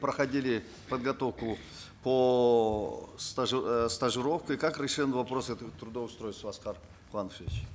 проходили подготовку по э стажировке как решен вопрос этого трудоустройства аскар куанышевич